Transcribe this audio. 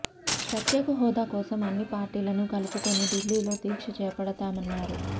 ప్రత్యేక హోదా కోసం అన్ని పార్టీలను కలుపుకొని ఢిల్లీలో దీక్ష చేపడతామన్నారు